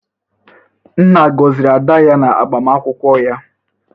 nna gọziri ada ya na agbamakwụkwọ ya?